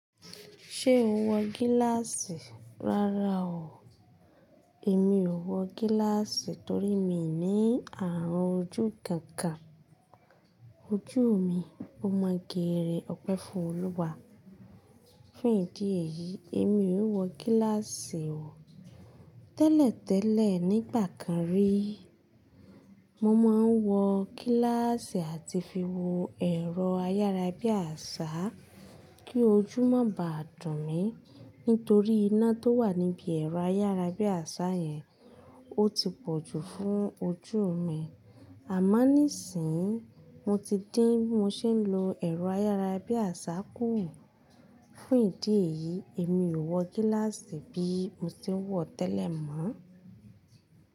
Ṣé o wọ gíláàsì rárá o. Èmi ò wọ gíláàsì torí mii ní àrùn ojú kankan. Ojú mi ó mo geére iọpẹ́ fún Olúwa. Fún ìdí èyí, èmi ò wọ gíláàsì o. Tẹ́lẹ̀ tẹ́lẹ̀ nígbà kan rí, mo máa ń wọ gíláàsì àti fi wo ẹ̀rọ ayára bí àṣá kí ojú má bàa dùn mi nítorí iná tó wà níbi ẹ̀rọ ayára bí àṣá yẹn ó ti pọ̀jù fún ojú mi. Àmo níìsínyii, mo ti dín bi mo ṣe ń lo ẹ̀rọ ayára bí àṣá kù. Fún ìdí èyí, èmi ò wọ gíláàsì bí mo ṣe ń wọ̀ tẹ́lẹ̀ mọ́.